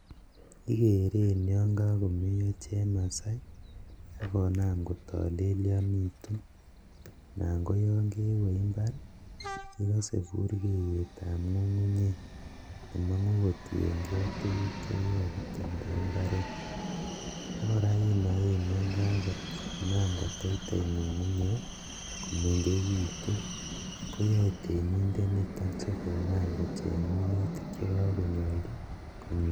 Ikeren yoon kokomeyo chemasai akonam kotolelionitun, anan koyon kewee imbar ikose burkeyetab ng'ung'unyek nemong'u kotienkee tukuk chekikakitemda imbaret, akora inoen yaan kakonam koteitei ng'ung'unyek komeng'ekitun koyoe temindet niton sikonam kocheng minutik chekokonyolchi kominchi.